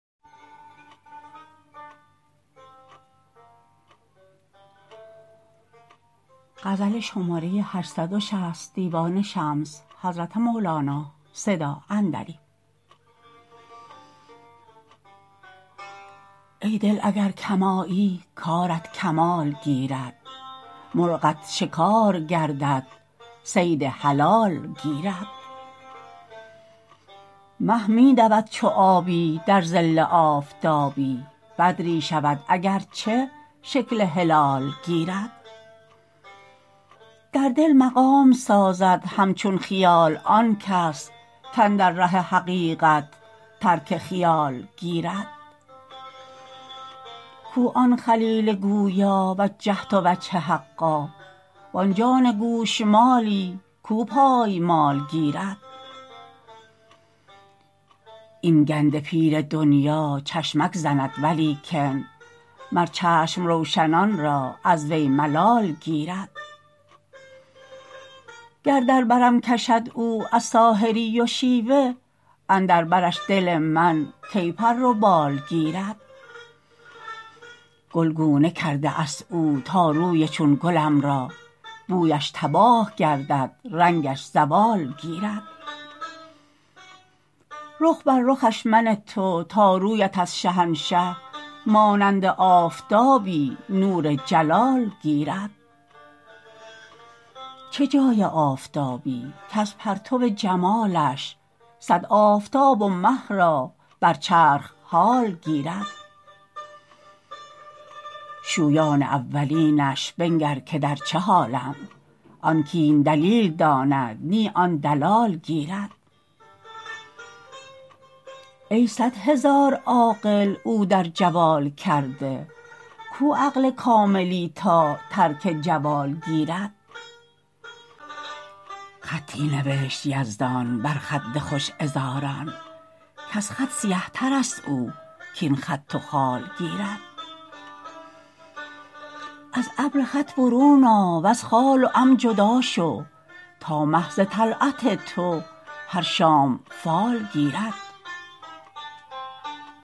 ای دل اگر کم آیی کارت کمال گیرد مرغت شکار گردد صید حلال گیرد مه می دود چو آیی در ظل آفتابی بدری شود اگر چه شکل هلال گیرد در دل مقام سازد همچون خیال آن کس کاندر ره حقیقت ترک خیال گیرد کو آن خلیل گویا وجهت وجه حقا وان جان گوشمالی کو پای مال گیرد این گنده پیر دنیا چشمک زند ولیکن مر چشم روشنان را از وی ملال گیرد گر در برم کشد او از ساحری و شیوه اندر برش دل من کی پر و بال گیرد گلگونه کرده است او تا روی چون گلم را بویش تباه گردد رنگش زوال گیرد رخ بر رخش منه تو تا رویت از شهنشه مانند آفتابی نور جلال گیرد چه جای آفتابی کز پرتو جمالش صد آفتاب و مه را بر چرخ حال گیرد شویان اولینش بنگر که در چه حالند آن کاین دلیل داند نی آن دلال گیرد ای صد هزار عاقل او در جوال کرده کو عقل کاملی تا ترک جوال گیرد خطی نوشت یزدان بر خد خوش عذاران کز خط سیه تر است او کاین خط و خال گیرد از ابر خط برون آ وز خال و عم جدا شو تا مه ز طلعت تو هر شام فال گیرد